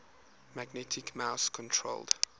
magnetic mouse controlled